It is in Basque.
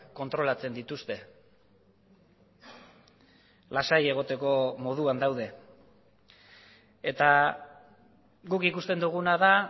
kontrolatzen dituzte lasai egoteko moduan daude eta guk ikusten duguna da